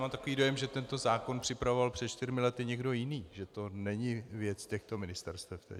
Mám takový dojem, že tento zákon připravoval před čtyřmi lety někdo jiný, že to není věc těchto ministerstev.